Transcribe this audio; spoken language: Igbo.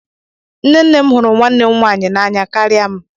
Nne nne m hụrụ nwanne m nwaanyị n'anya karịa m